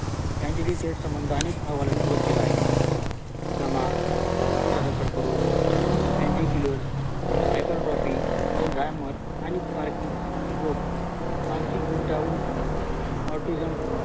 यांचे त्यात संबंधात उघड केला आहे दमा फुफुसाचा कर्करोग पाँटिकलर हायपर टॉपी एल्झहमर आणि रोग मानसिक गुंतावून ऑर्टीझम